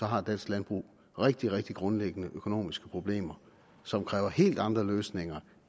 har dansk landbrug rigtig rigtig grundlæggende økonomiske problemer som kræver helt andre løsninger